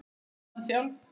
Skyldan sjálf